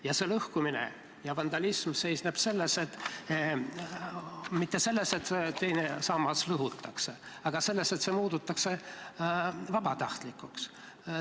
Ja see lõhkumine ja vandalism ei seisne mitte selles, et teine sammas lõhutakse, vaid selles, et see muudetakse vabatahtlikuks.